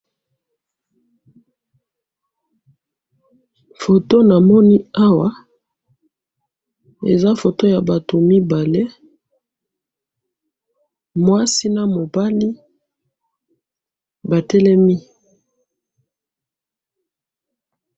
Photo na moni awa eza mwasi na mobali batelemi.